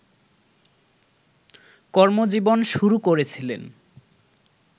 কর্মজীবন শুরু করেছিলেন